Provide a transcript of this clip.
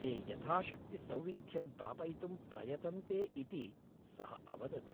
ते यथाशक्ति सौविध्यं प्रापयितुं प्रयतन्ते इति सः अवदत्।